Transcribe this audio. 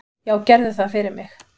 """Já, gerðu það fyrir mig!"""